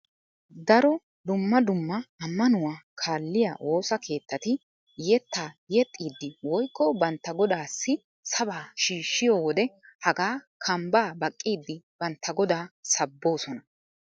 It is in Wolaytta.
Daro dumma dumma ammanuwa kaalliya woosa keettati yettaa yeexxiiddi woyikko bantta godaassi sabaa shiishshiyo wode hagaa kambbaa baqqiiddi bantta godaa sabboosona.